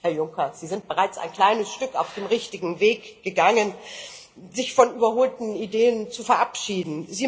Herr Juncker, Sie sind bereits ein kleines Stück auf dem richtigen Weg gegangen, sich von überholten Ideen zu verabschieden.